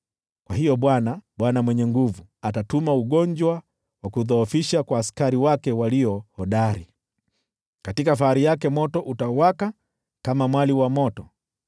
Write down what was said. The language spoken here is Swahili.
Kwa hiyo Bwana, Bwana Mwenye Nguvu Zote, atatuma ugonjwa wa kudhoofisha kwa askari wake walio hodari, katika fahari yake moto utawaka kama mwali wa moto.